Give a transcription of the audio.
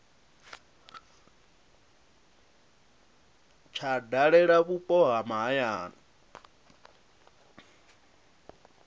tsha dalela vhupo ha mahayani